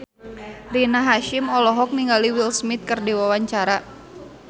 Rina Hasyim olohok ningali Will Smith keur diwawancara